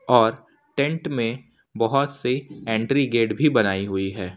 और टेंट में बहोत से एंट्री गेट भी बनाई हुई है।